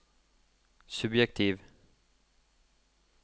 subjektiv